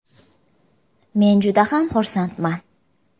Men judayam xursandman.